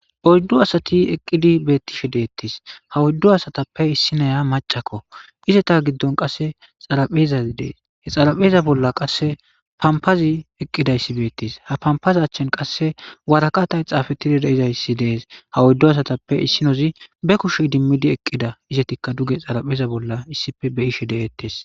Poyddu asati eqqidi beettishe deettis ha wuyddu asatappe issinoya macakko izeta giddon qasse xaraphezaz dees he xarapheeza bolla qasse pampazi eqqidayssi beettis ha pampaza achchen qasse warakatay xaafettidi deizayssi dees ha wuyddu asatappe issinozi be kushe dimmidi eqqida izetikka duge xarapheeza bolla issife beyishe deettes.